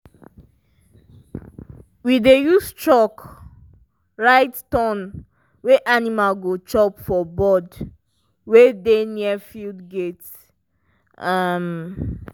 we dey use chalk write turn wen animal go chop for board wey dey near the field gate. um